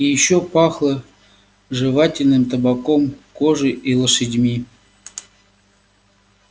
и ещё пахло жевательным табаком кожей и лошадьми